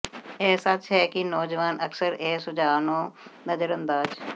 ਇਹ ਸੱਚ ਹੈ ਕਿ ਨੌਜਵਾਨ ਅਕਸਰ ਇਹ ਸੁਝਾਅ ਨੂੰ ਨਜ਼ਰਅੰਦਾਜ਼